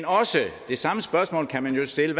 det samme spørgsmål kan man jo stille